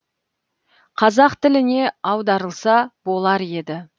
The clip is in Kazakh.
қазақ тіліне аударылса болар еді